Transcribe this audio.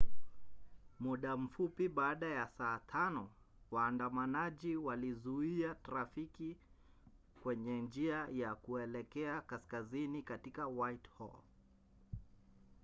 muda mfupi baada ya saa 5 waandamanaji walizuia trafiki kwenye njia ya kuelekea kaskazini katika whitehall